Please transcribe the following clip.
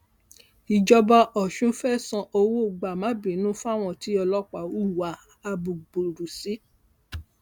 ìjọba ọsùn fẹẹ san owó gbàmábínú fáwọn tí ọlọpàá hùwà abúgbùrú sí